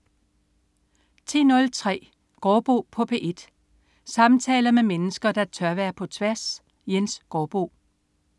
10.03 Gaardbo på P1. Samtaler med mennesker, der tør være på tværs. Jens Gaardbo